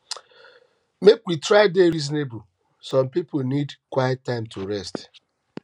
make we try dey reasonable some pipo need quiet time to rest